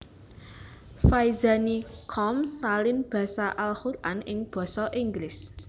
Faizani com salin basa Al Quran ing basa Inggris